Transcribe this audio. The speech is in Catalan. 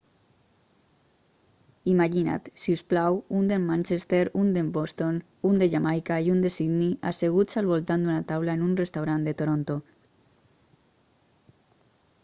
imagina't si us plau un de manchester un de boston un de jamaica i un de sydney asseguts al voltant d'una taula en un restaurant de toronto